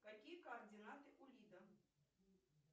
какие координаты у лида